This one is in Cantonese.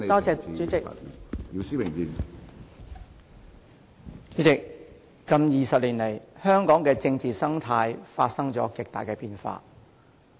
主席，近20年來，香港的政治生態發生了極大的變化。